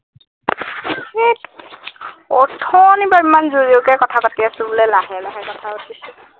হেৎ অথনিৰ পৰা ইমান যোৰ যোৰকে কথা পাতি আছো বোলে লাহে লাহে কথা পাতিছো